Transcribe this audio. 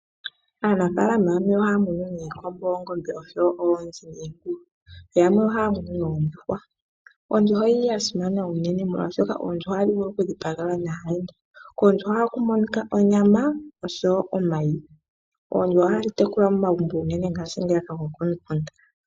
Aanafaalama yamwe ohaya munu iikombo, oongombe, oonzi niingulu. Yamwe ohaya munu oondjuhwa. Ondjuhwa oya simana unene molwashoka ondjuhwa ohayi vulu okudhipagelwa aayenda. Koondjuhwa ohaku monika onyama oshowo omayi. Oondjuhwa ohadhi tekulwa unene komagumbo gokomukunda.